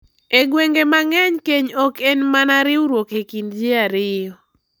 E gwenge mang’eny, keny ok en mana riwruok e kind ji ariyo .